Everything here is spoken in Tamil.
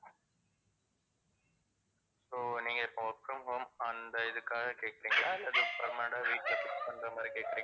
so நீங்க இப்போ work from home அந்த இதுக்காக கேக்குறிங்களா இல்ல just permanent ஆ வீட்ல fix பண்ற மாதிரி கேக்குறிங்களா?